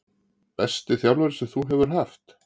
Besti þjálfari sem þú hefur haft?